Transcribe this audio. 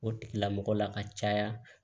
O tigilamɔgɔ la ka caya